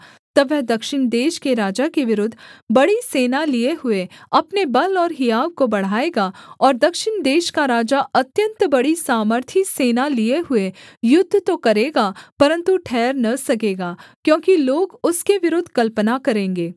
तब वह दक्षिण देश के राजा के विरुद्ध बड़ी सेना लिए हुए अपने बल और हियाव को बढ़ाएगा और दक्षिण देश का राजा अत्यन्त बड़ी सामर्थी सेना लिए हुए युद्ध तो करेगा परन्तु ठहर न सकेगा क्योंकि लोग उसके विरुद्ध कल्पना करेंगे